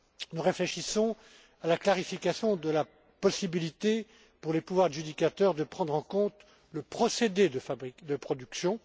achats. Nous réfléchissons à la clarification de la possibilité pour les pouvoirs adjudicateurs de prendre en compte le procédé de production.